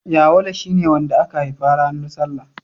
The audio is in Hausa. Yawale shi ne wanda aka haifa ranar salla.